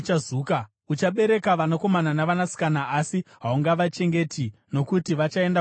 Uchabereka vanakomana navanasikana asi haungavachengeti, nokuti vachaenda kuutapwa.